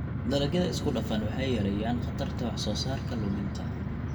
Dalagyada isku-dhafan waxay yareeyaan khatarta wax-soo-saarka luminta.